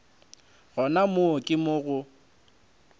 gona moo ke mo go